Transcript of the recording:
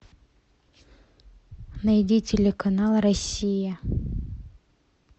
найди телеканал россия